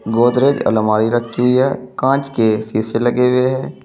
गोदरेज अलमारी रखी हुई है कांच के शीशे लगे हुए हैं।